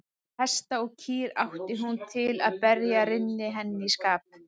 Hesta og kýr átti hún til að berja rynni henni í skap.